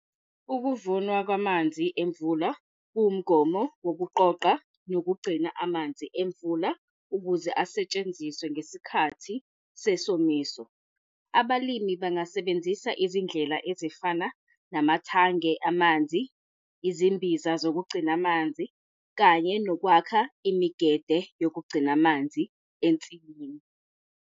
Ukuvunwa kwamanzi emvula kuwumgomo wokuqoqa nokugcina amanzi emvula, ukuze asetshenziswe ngesikhathi sesomiso. Abalimi bangasebenzisa izindlela ezifana namathange amanzi, izimbiza zokugcina amanzi, kanye nokwakha imigede yokugcina amanzi ensimini.